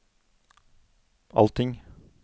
allting